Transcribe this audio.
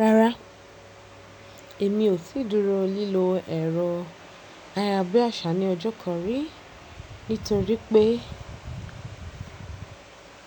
Rárá, èmi ò tí dúró lílọ ẹ̀rọ ayárabíàṣá ní ọjọ́ kan rí. Nítorí pé,